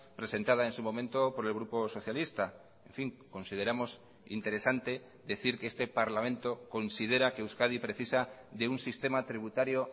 presentada en su momento por el grupo socialista en fin consideramos interesante decir que este parlamento considera que euskadi precisa de un sistema tributario